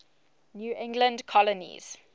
new england colonies